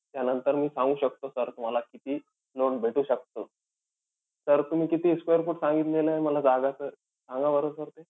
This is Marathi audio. त्यानंतर मी सांगू शकतो sir तुम्हाला किती loan भेटू शकतं. तर तुम्ही किती square feet सांगितलेलयं मला जागा sir? सांगा बरं sir ते.